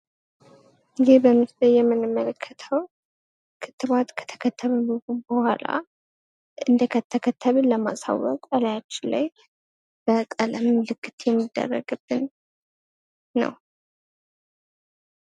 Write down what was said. ይህ በምስሉ ላይ የምንመለከተው ክትባት ከተከተበ በኋላ እንደተከተበ ለማሳወቅ ከላያችን ላይ በቀለም ምልክት የሚደረግብን ነው።